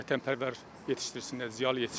Vətənpərvər yetişdirsinlər, ziyalı yetişdirsinlər.